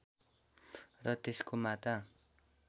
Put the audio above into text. र त्यसको माता